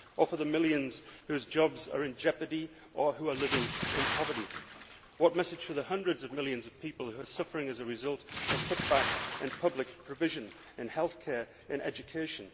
Or for the millions whose jobs are in jeopardy or who are living in poverty? What message for the hundreds of millions of people who are suffering as a result of cutbacks in public provision, in healthcare, in education?